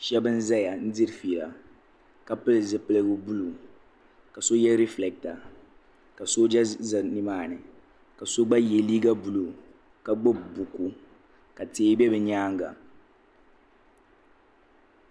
shɛba n-zaya diri fiila ka pili zupil' buluu ka so ye rifileeta ka sooja ʒe ni maa ni ka so gba ye liiga buluu ka gbubi buku ka tihi be bɛ nyaaga.